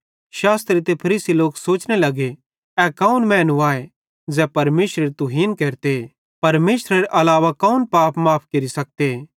यीशु तैन केरो विश्वास हेरतां ज़ोवं हे दोस्त तेरे पाप माफ़ भोए